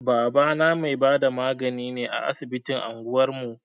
Babana mai bada magani ne a asibitin anguwar mu.